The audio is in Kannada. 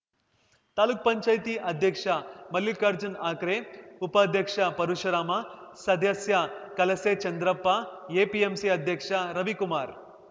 ತಾಲೂಕು ಪಂಚಾಯತಿ ಅಧ್ಯಕ್ಷ ಮಲ್ಲಿಕಾರ್ಜುನ ಹಕ್ರೆ ಉಪಾಧ್ಯಕ್ಷ ಪರಶುರಾಮ ಸದಸ್ಯ ಕಲಸೆ ಚಂದ್ರಪ್ಪ ಎಪಿಎಂಸಿ ಅಧ್ಯಕ್ಷ ರವಿಕುಮಾರ್‌